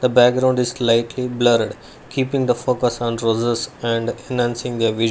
the background is lightly blurred keeping the focus on roses and nancy the--